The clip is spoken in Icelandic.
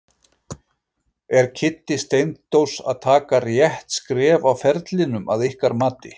Er Kiddi Steindórs að taka rétt skref á ferlinum að ykkar mati?